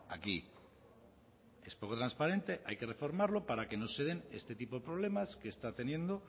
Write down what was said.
aquí es poco transparente hay que reformarlo para que no se den este tipo de problemas que está teniendo